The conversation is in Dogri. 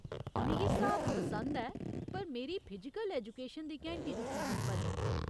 मिगी स्हाब पसंद ऐ पर मेरी फिजिकल ऐजुकेशन दी घैंटी दी कीमत पर नेईं।